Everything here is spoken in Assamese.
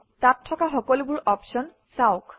তাত থকা সকলোবোৰ অপশ্যন চাওক